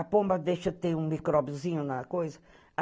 A pomba deixa ter um micróbiozinho na coisa.